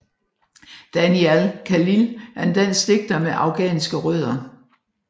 Danial Khalil er en dansk digter med afghanske rødder